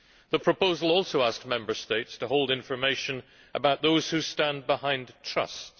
The proposal also asks Member States to hold information about those who stand behind trusts